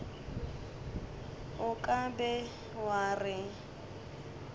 o ka be wa re